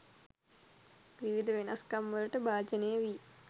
විවිධ වෙනස්කම් වලට භාජනය වී